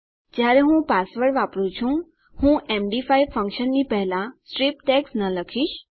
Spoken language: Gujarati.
જયારે હું પાસવર્ડ વાપરું છું હું એમડી5 ફંક્શનની પહેલા સ્ટ્રીપ ટેગ્સ ન લખીશ